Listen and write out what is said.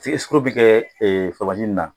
I ye sikaro min kɛ ji in na